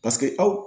Paseke aw